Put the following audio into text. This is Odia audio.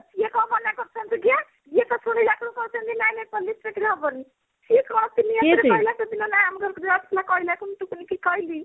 ସିଏ କଣ ମନା କରୁଛନ୍ତି କିଏ ଇଏ ଥାତାପୀ ୟାକୁ କହୁଛନ୍ତି ନାଇଁ ନାଇଁ police ଚାକିରି ହବନି ସିଏ କହିଲା ସେଦିନ ନା ଆମର କହିଲା କି ମୁଁ ଟୁକୁନି କି କହିଲି